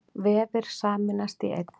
Vefir sameinast í einn